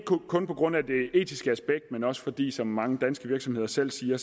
kun på grund af det etiske aspekt men også fordi som mange danske virksomheder selv siger